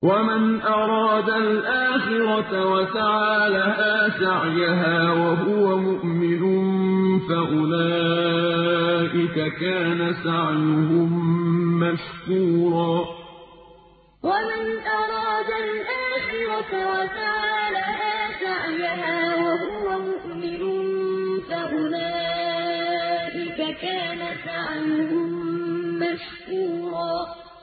وَمَنْ أَرَادَ الْآخِرَةَ وَسَعَىٰ لَهَا سَعْيَهَا وَهُوَ مُؤْمِنٌ فَأُولَٰئِكَ كَانَ سَعْيُهُم مَّشْكُورًا وَمَنْ أَرَادَ الْآخِرَةَ وَسَعَىٰ لَهَا سَعْيَهَا وَهُوَ مُؤْمِنٌ فَأُولَٰئِكَ كَانَ سَعْيُهُم مَّشْكُورًا